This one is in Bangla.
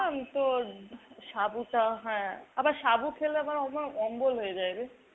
তোর, সাবুটা। হ্যাঁ, আবার সাবু খেলে আমার আবার অম্বল হয়ে যায় রে।